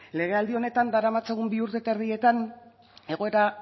legealdi honetan daramatzagun bi urte eta erdietan egoera